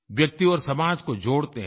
व्यक्ति और समाज को जोड़ते हैं